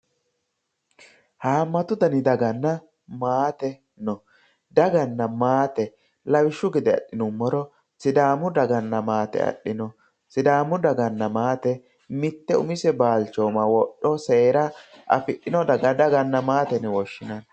haammatu dani daganna maate no daganna maate lawishshu gede adhinummoro sidaamu daganna maate adhino sidaamu daganna maate mitte umise balchooma wodho seera afidhino daga daganna maate yine woshshinanni.